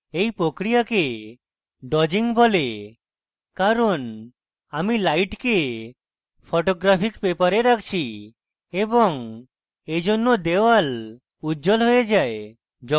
এই প্রক্রিয়াকে dodging বলে কারণ আমি light photographic paper রাখছি এবং এইজন্য wall উজ্জ্বল হয়ে যায়